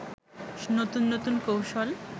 নতুন নতুন কৌশল